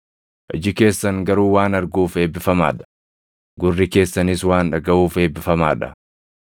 Iji keessan garuu waan arguuf eebbifamaa dha; gurri keessanis waan dhagaʼuuf eebbifamaa dha.